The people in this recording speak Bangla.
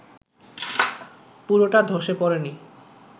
পুরোটা ধসে পড়েনি